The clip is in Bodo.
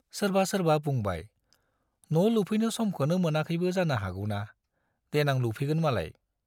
सोरबा सोरबा बुंबाय , न' लुफैनो समखौनो मोनाखैबो जानो हागौना, देनां लुफैगोन मालाय।